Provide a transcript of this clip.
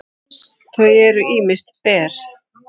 þau eru ýmist ber